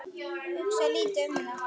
Hugsa lítið um það.